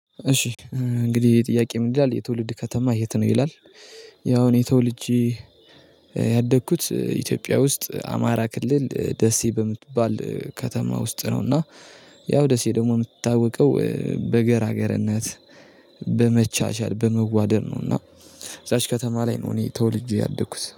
እሺ እንግዲህ ጥያቄ ምን ይላል የትውልድ ከተማ የት ነው ይላል? ያው እኔ ተወልጄ ያደግኩት ኢትዮጵያ ውስጥ አማራ ክልል ደሴ በምትባል ከተማ ውስጥ ነው። እና ያው ደሴ ደግሞ የምትታወቀው በገራገርነት በመቻቻል በመዋደድ ነው። እና እዛች ከተማ ላይ ነው። እኔ ተውልጄ ያደኩት